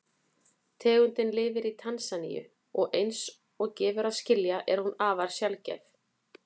Tegundin lifir í Tansaníu og eins og gefur að skilja er hún afar sjaldgæf.